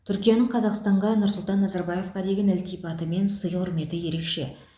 түркияның қазақстанға нұрсұлтан назарбаевқа деген ілтипаты мен сый құрметі ерекше